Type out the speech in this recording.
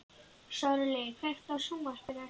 Sörli, kveiktu á sjónvarpinu.